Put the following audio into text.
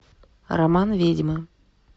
роман ведьмы